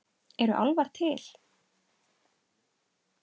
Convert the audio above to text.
Eru álfar til?